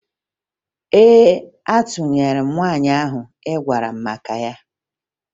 Ee, atụnyere m nwaanyị ahụ ị gwara m maka ya